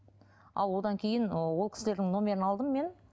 а одан кейін ы ол кісілердің номерлерін алдым мен